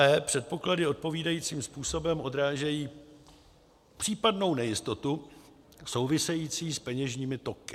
e) předpoklady odpovídajícím způsobem odrážejí případnou nejistotu související s peněžními toky.